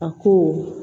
A ko